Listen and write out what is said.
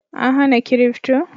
An hana kirifto?